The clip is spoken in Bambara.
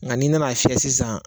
Nka n'i nana a fiyɛ sisan